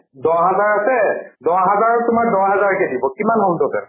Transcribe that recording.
দহ হেজাৰকে দহ হেজাৰক তোমাৰ দহ হেজাৰকে দিব, কিমান হʼল total ?